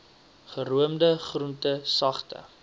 geroomde groente sagte